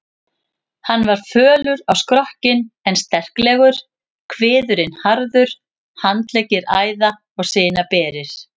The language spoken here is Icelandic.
Hann var fölur á skrokkinn en sterklegur, kviðurinn harður, handleggir æða- og sinaberir.